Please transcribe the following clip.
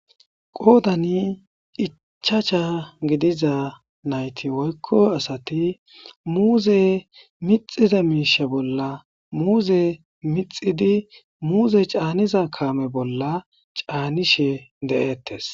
Qodani ichasha gidida nayiti woyiko asati muze miciza misha bolla muze micidi muze ca,niza kame bolla ca,nishe deetes